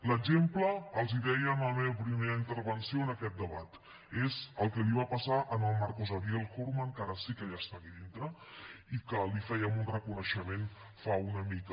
l’exemple els hi deia en la meva primera intervenció en aquest debat és el que li va passar al marcos ariel hourmann que ara sí que ja està aquí dintre i que li fèiem un reconeixement fa una mica